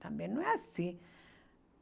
Também não é assim.